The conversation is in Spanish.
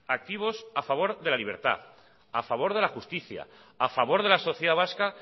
activos a favor de la libertad a favor de la justicia a favor de la sociedad vasca